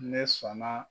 Ne sɔnna